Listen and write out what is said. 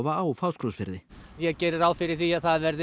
á Fáskrúðsfirði ég geri bara ráð fyrir því að það verði